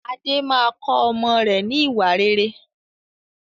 Adé máa kọ ọmọ rẹ ni ìwà rere.